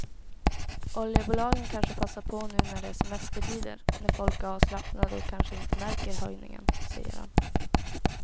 Oljebolagen kanske passar på nu när det är semestertider när folk är avslappnade och kanske inte märker höjningen, säger han.